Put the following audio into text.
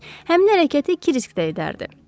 Həmin hərəkəti Krisk də edərdi.